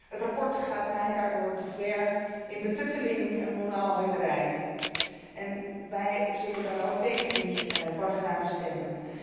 Het verslag gaat mij daardoor te ver in betutteling en moraalridderij, en wij zullen dan ook tegen die paragrafen stemmen.